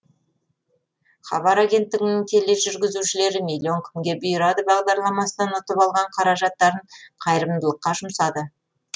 хабар агенттігінің тележүргізушілері миллион кімге бұйырады бағдарламасынан ұтып алған қаражаттарын қайырымдылыққа жұмсады